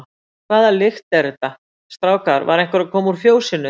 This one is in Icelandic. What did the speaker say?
Hvaða lykt er þetta, strákar, var einhver að koma úr fjósinu?